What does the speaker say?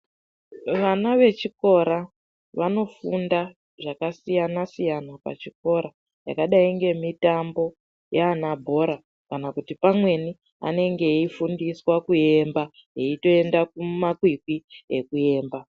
Vana vechikora vanofunda zvakasiyana siyana pachikora, zvakadai ngemitambo yanabhora kana kuti pamweni vanenge veifundiswa kuemba veitoenda kumakwikwi ekuemba.